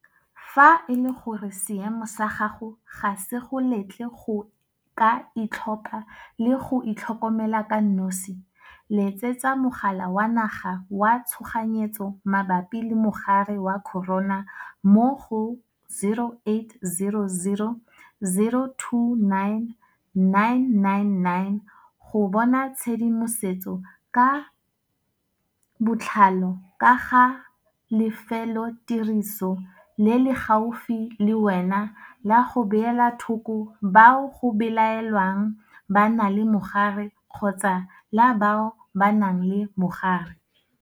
Fa e le gore seemo sa gago ga se go letle go ka itlhopha le go itlhokomela ka nosi, letsetsa Mogala wa Naga wa Tshoganyetso Mabapi le Mogare wa Corona mo go 0800 029 999 go bona tshedimosetso ka botlalo ka ga lefelotiriso le le gaufi le wena la go beela thoko bao go belaelwang ba na le mogare kgotsa la bao ba nang le mogare.